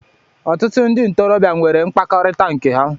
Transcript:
Ọtụtụ ndị ntorobịa nwere mkpakọrịta nke ha